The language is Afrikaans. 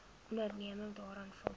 onderneming daaraan voldoen